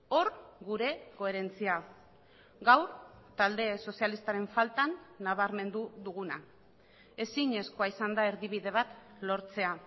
hor gure koherentzia gaur talde sozialistaren faltan nabarmendu duguna ezinezkoa izan da erdibide bat lortzea